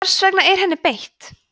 hvers vegna er henni beitt